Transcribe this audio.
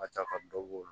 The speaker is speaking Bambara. Ka ca ka dɔ bɔ o la